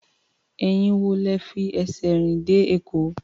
Ẹ̀yin wo lẹ fi ẹsẹ̀ rìn dé Èkó?